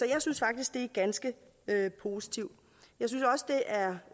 jeg synes faktisk det er ganske positivt